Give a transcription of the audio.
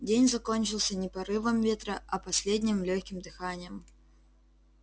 день закончился не порывом ветра а последним лёгким дыханием